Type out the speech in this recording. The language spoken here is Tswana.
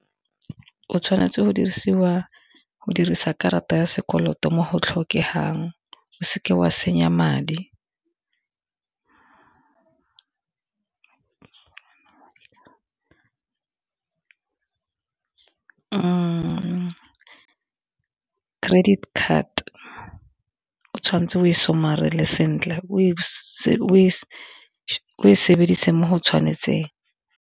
O tshwanetse go dirisa karata ya sekoloto mo go tlhokegang o seke wa senya madi, credit card o tshwanetse o somarele sentle o e sebedise mo go tshwanetseng.